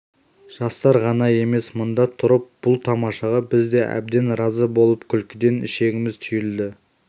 жастар ғана емес мында тұрып бұл тамашаға біз де әбден разы болып күлкіден ішегіміз түйілді